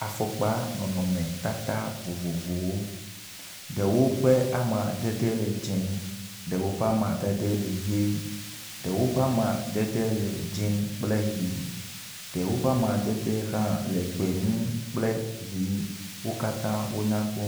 Afɔkpa nɔnɔmetata vovovowo, ɖewo ƒe amadede le dzɛ̃, ɖewo ƒe amadede le ʋe, ɖewo ƒe amadede le dzɛ̃ kple ʋɛ̃, ɖewo ƒe amadede hã le gbemu kple ʋɛ̃. Wo katã wo nyakpɔ.